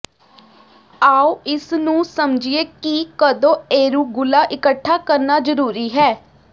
ਆਉ ਇਸ ਨੂੰ ਸਮਝੀਏ ਕਿ ਕਦੋਂ ਏਰੂਗੂਲਾ ਇਕੱਠਾ ਕਰਨਾ ਜ਼ਰੂਰੀ ਹੈ